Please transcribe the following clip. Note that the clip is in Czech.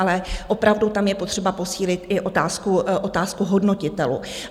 Ale opravdu tam je potřeba posílit i otázku hodnotitelů.